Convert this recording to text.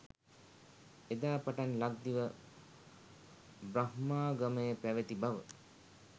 එදා පටන් ලක්දිව බ්‍රහ්මාගමය පැවැති බව